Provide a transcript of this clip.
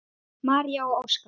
María og Óskar.